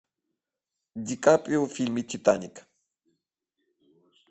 ди каприо в фильме титаник